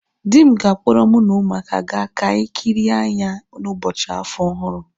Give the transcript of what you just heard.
Di m ga-akpọrọ mu na umuaka ga ka anyi kịrịe anya n'ụbọchị afọ ọhụrụ